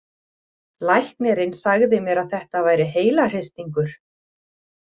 Læknirinn sagði mér að þetta væri heilahristingur.